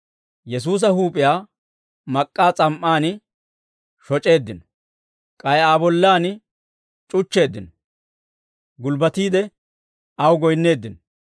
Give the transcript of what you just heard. Yesuusa huup'iyaa mak'k'aa s'am"aan shoc'eeddino; k'ay Aa bollan c'uchcheeddino; gulbbatiide aw goyinneeddino.